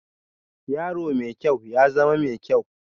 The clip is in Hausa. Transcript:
Yaro mai kyau, ya zama mai kyau